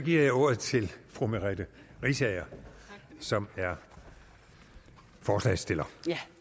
giver jeg ordet til fru merete riisager som er forslagsstiller